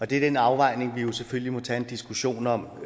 det er den afvejning vi jo selvfølgelig må tage en diskussion om